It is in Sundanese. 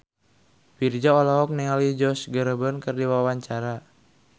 Virzha olohok ningali Josh Groban keur diwawancara